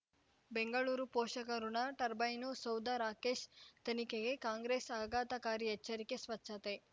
ಬೆಂಗಳೂರು ಪೋಷಕರಋಣ ಟರ್ಬೈನು ಸೌಧ ರಾಕೇಶ್ ತನಿಖೆಗೆ ಕಾಂಗ್ರೆಸ್ ಆಘಾತಕಾರಿ ಎಚ್ಚರಿಕೆ ಸ್ವಚ್ಛತೆ